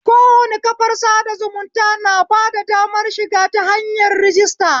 Kowane kafar sada zumunta na bada damar shiga ta hanyar rajista